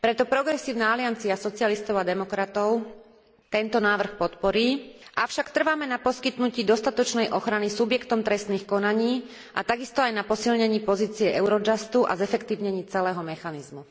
Pokroková aliancia socialistov a demokratov preto tento návrh podporí, avšak trváme na poskytnutí dostatočnej ochrany subjektom trestných konaní a takisto aj na posilnení pozícií Eurojustu a zefektívnení celého mechanizmu.